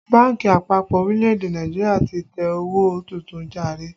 Bánkì àpapọ̀ orílẹ̀ èdè Nàìjíríà ti tẹ owó tuntun jàre